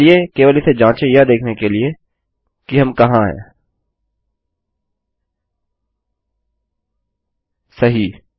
चलिए केवल इसे जाँचे यह देखने के लिए कि हम कहाँ हैंसही